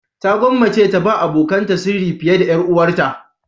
Ta gwammace ta ba abokanta sirri fiye da 'yar uwarta.